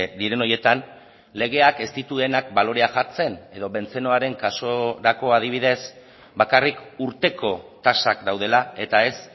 diren horietan legeak ez dituenak balorea jartzen edo bentzenoaren kasurako adibidez bakarrik urteko tasak daudela eta ez